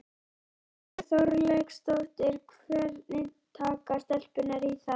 Þórhildur Þorkelsdóttir: Hvernig taka stelpurnar í það?